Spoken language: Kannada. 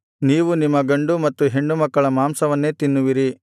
ನೀವು ನಿಮ್ಮ ಗಂಡು ಮತ್ತು ಹೆಣ್ಣುಮಕ್ಕಳ ಮಾಂಸವನ್ನೇ ತಿನ್ನುವಿರಿ